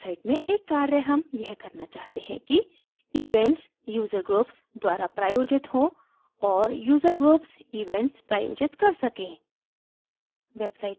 अपनी website में एक कार्य हम यह करना चाहते हैं कि events user groups द्वारा प्रायोजित हो और user groups events प्रायोजित कर सकें